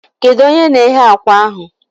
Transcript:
Kedu onye na-eghe akwa ahụ?